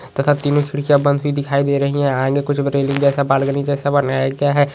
तथा तीन खिड़कियां बनी दिखाई दे रही है तथा आगे कुछ बालकनी जैसा रेल्लिंग जैसा बनाया गया है।